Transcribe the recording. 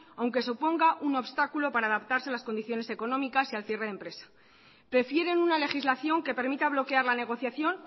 aunque suponga un obstáculo para adaptarse a las condiciones económicas y al cierre de empresa prefieren una legislación que permita bloquear la negociación